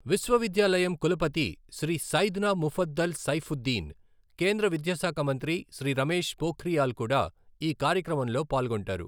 విశ్వవిద్యాలయం కులపతి శ్రీ సైద్నా ముఫద్దల్ సైఫుద్దీన్, కేంద్ర విద్యాశాఖ మంత్రి శ్రీ రమేష్ పోఖ్రియాల్ కూడా ఈ కార్యక్రమంలో పాల్గొంటారు.